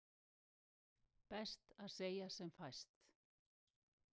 Best að segja sem fæst.